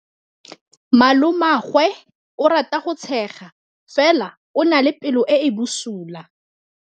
Malomagwe o rata go tshega fela o na le pelo e e bosula.